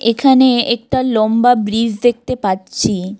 এখানে একটা লম্বা ব্রিজ দেখতে পাচ্ছি।